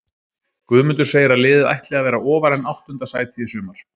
Guðmundur segir að liðið ætli að vera ofar en áttunda sæti í sumar.